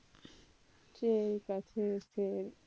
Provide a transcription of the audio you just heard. சரிக்கா. சரி, சரி